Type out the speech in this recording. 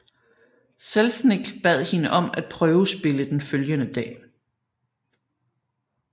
Selznick bad hende om at prøvespille den følgende dag